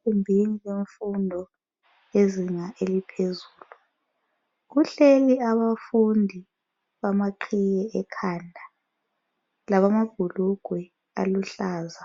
Egumbini lemfundo yezinga eliphezulu, kuhleli abafundi bama qhiye ekhanda labamabhulugwe aluhlaza,